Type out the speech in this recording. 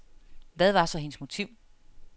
Hvad var så hendes motiv.